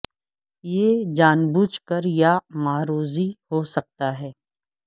یہ جان بوجھ کر یا معروضی ہو سکتا ہے